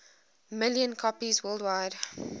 million copies worldwide